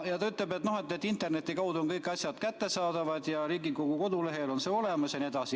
Ta ütles, et interneti kaudu on kõik asjad kättesaadavad ja Riigikogu kodulehel on see olemas jne.